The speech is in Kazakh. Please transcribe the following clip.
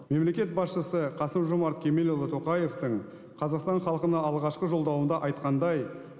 мемлекет басшысы қасым жомарт кемелұлы тоқаевтын қазақстан халқына алғашқы жолдауында айтқандай